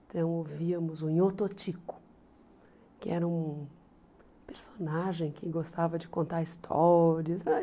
Então, ouvíamos o Nhô Totico, que era um personagem que gostava de contar histórias ai.